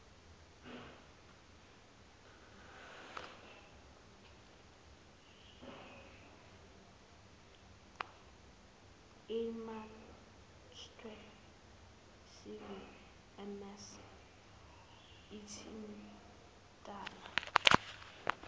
inmarsat cvms othintana